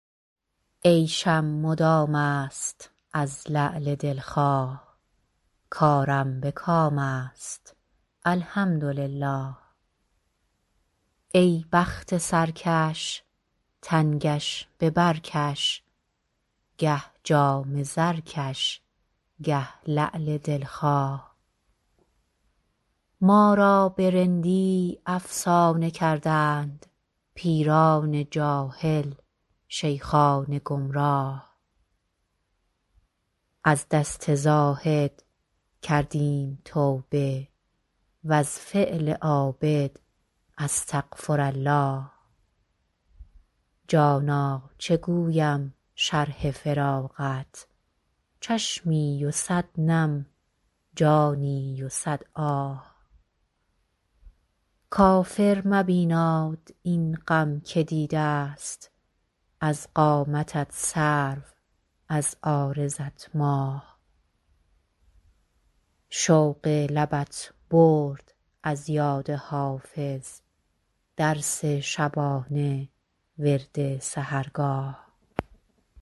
عیشم مدام است از لعل دل خواه کارم به کام است الحمدلله ای بخت سرکش تنگش به بر کش گه جام زرکش گه لعل دل خواه ما را به رندی افسانه کردند پیران جاهل شیخان گمراه از دست زاهد کردیم توبه و از فعل عابد استغفرالله جانا چه گویم شرح فراقت چشمی و صد نم جانی و صد آه کافر مبیناد این غم که دیده ست از قامتت سرو از عارضت ماه شوق لبت برد از یاد حافظ درس شبانه ورد سحرگاه